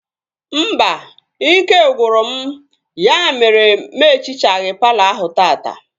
Mba, ike gwụrụ m ya mere na m ehichaghi palọ ahụ taata